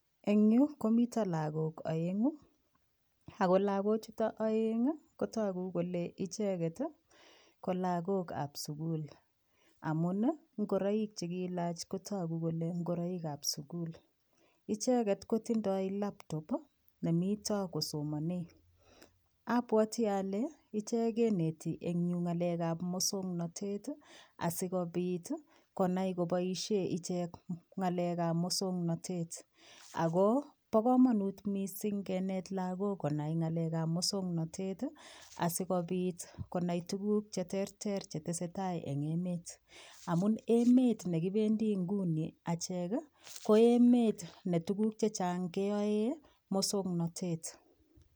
een yuu komiten lagook oengu agoo lagok chuton ooeng iih kotogu kole icheeg et kolagook ab sugul omun iih ingoroik chegiloche kotogu kole ingoroiik ab sugul icheget kotindoo laptop, nimetoi kosomonen obwoti ole icheget keneti een yuu ngalek ab mosognotet iih asigobit konai koboisheen icheek ngaleek ab mosognotet, ago bo komonut misiing kineet lagook ngalek ab mosognotet iih asigobiit konai tuguuk cheterter chetesetai en emet omun emet negibendii inguni acheek iih ko emet netuguk chechang keyoee mosognotet.